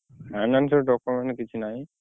Finance ରେ document କିଛି ନାଇଁ।